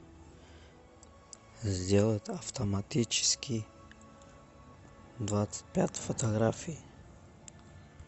сделать автоматический двадцать пять фотографий